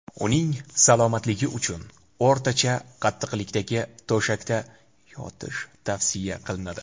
Uning salomatligi uchun o‘rtacha qattiqlikdagi to‘shakda yotish tavsiya qilinadi.